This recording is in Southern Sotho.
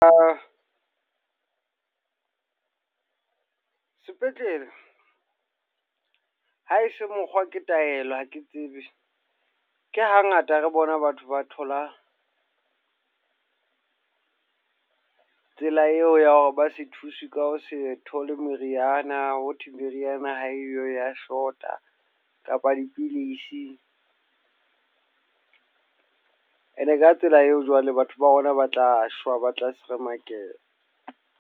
A sepetlele ha e se mokgwa ke taelo, ha ke tsebe. Ke hangata re bona batho ba thola tsela eo ya hore ba se thuse ka ho setho le meriana, ho thwe meriana ha eyo ya short-a kapa dipidisi. E ne ka tsela eo jwale batho ba rona ba tla shwa ba tla seremakeha.